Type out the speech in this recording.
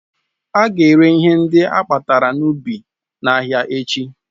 Ága ere ihe ndị akpatara n'ubi n'ahịa echi